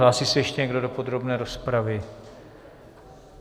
Hlásí se ještě někdo do podrobné rozpravy?